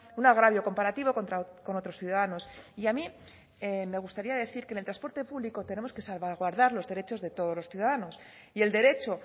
un agravio comparativo con otros ciudadanos y a mí me gustaría decir que en el transporte público tenemos que salvaguardar los derechos de todos los ciudadanos y el derecho